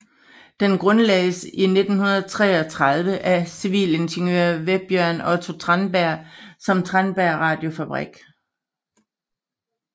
Den grundlagdes 1933 af civilingeniør Vebjørn Otto Tandberg som Tandberg Radiofabrikk